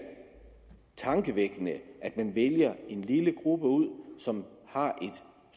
tankevækkende at man vælger en lille gruppe ud som har et